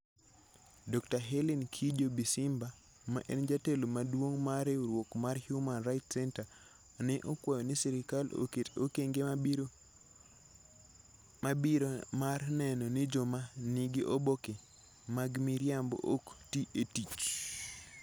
Dr. Hellen Kijo-Bisimba, ma en jatelo maduong' mar riwruok mar Human Rights Center, ne okwayo ni sirkal oket okenge mabiro mabiro mar neno ni joma nigi oboke mag miriambo ok ti e tich.